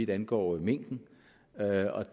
angår mink